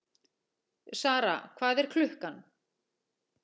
Sara, hvað er klukkan?